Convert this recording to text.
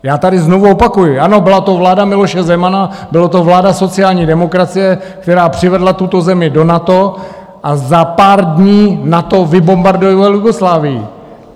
Já tady znovu opakuji, ano, byla to vláda Miloše Zemana, byla to vláda sociální demokracie, která přivedla tuto zemi do NATO, a za pár dní NATO vybombardovalo Jugoslávii.